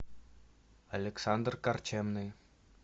александр корчемный